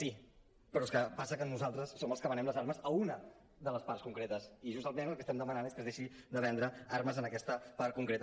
sí però és que passa que nosaltres som els que venem les armes a unaconcretes i justament el que estem demanant és que es deixi de vendre armes en aquesta part concreta